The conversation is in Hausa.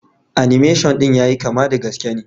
"Animation" din ya yi kama da gaske ne.